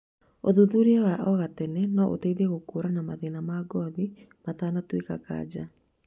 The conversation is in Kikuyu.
ũthuthuria wa o gatene no ũteithie gũkũũrana mathĩna ma ngothi matanatuĩka kanja.